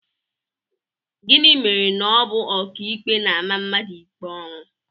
Gịnị mere na ọ bụ ọkàikpe na-ama mmadụ ikpe ọnwụ?